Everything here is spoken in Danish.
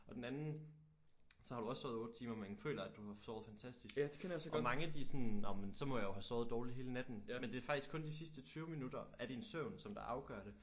Og den anden så har du også sovet 8 timer men føler at du har sovet fantastisk og mange de sådan nåh men så må jeg jo have sovet dårligt hele natten men det er faktisk kun de sidste 20 minutter af din søvn som der afgør det